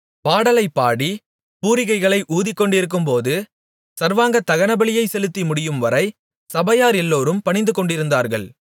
பாடலைப் பாடி பூரிகைகளை ஊதிக்கொண்டிருக்கும்போது சர்வாங்க தகனபலியைச் செலுத்தி முடியும்வரை சபையார் எல்லோரும் பணிந்துகொண்டிருந்தார்கள்